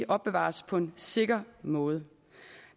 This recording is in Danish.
opbevares på en sikker måde